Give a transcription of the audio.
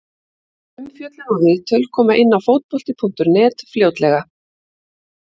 Umfjöllun og viðtöl koma inn á Fótbolti.net fljótlega.